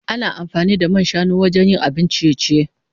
Ana amfani da man shanu wajen yin abun ciye-ciye.